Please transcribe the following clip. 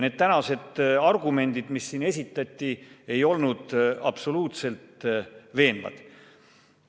Need tänased argumendid, mis siin esitati, ei olnud absoluutselt veenvad.